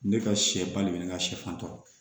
Ne ka sɛba de bɛ ne ka sɛfan tɔ